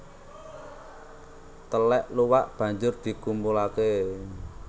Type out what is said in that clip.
Telèk luwak banjur dikumpulake